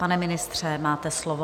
Pane ministře, máte slovo.